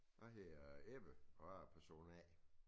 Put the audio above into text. Jeg hedder Ebbe og jeg er person A